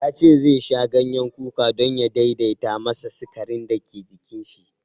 Ya ce zai sha ganyen kuka don ya daidaita masa sikarin da ke jinin shi.